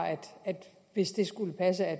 hvis det skulle passe at